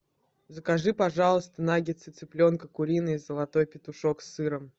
закажи пожалуйста наггетсы цыпленка куриные золотой петушок с сыром